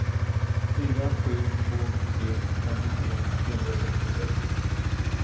fyra sju två tre femtiotre trehundrasextiosex